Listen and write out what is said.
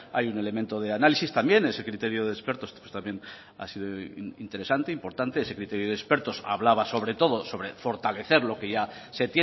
hay un elemento de análisis también ese criterio de expertos también ha sido interesante importante ese criterio de expertos hablaba sobre todo sobre fortalecer lo que ya se